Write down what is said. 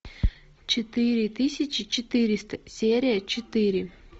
четыре тысячи четыреста серия четыре